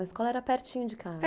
A escola era pertinho de casa.